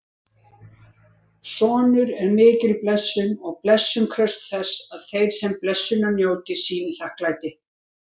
Sonur er mikil blessun og blessun krefst þess að þeir sem blessunar njóta sýni þakklæti.